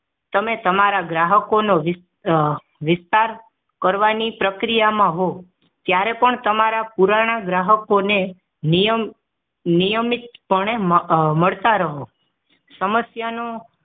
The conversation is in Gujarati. તમે તમારા ગ્રાહકોનો વિસ વિસતાર કરવાની પ્રક્રિયામાં હોવ ત્યારે પણ તમારા પુરાના ગ્રાહકોને નિયમ નિયમિત પણે મળતા રહો સમસ્યાનું